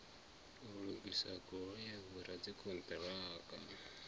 u lugisa goloi vhoradzikhon ṱiraka